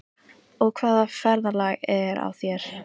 Og hvaða ferðalag er á þér?